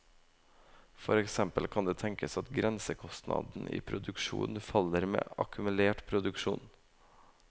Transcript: For eksempel kan det tenkes at grensekostnaden i produksjon faller med akkumulert produksjon.